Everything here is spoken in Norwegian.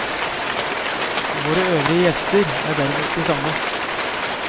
Våre øvrige gjester er derimot de samme.